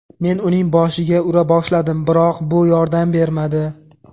Men uning boshiga ura boshladim, biroq bu yordam bermadi.